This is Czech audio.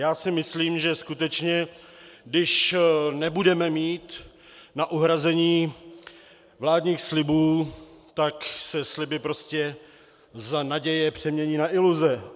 Já si myslím, že skutečně když nebudeme mít na uhrazení vládních slibů, tak se sliby prostě z naděje přemění na iluze.